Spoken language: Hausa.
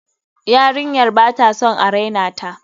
Yarinyar ba ta son a raina ta.